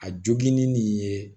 A joginni nin ye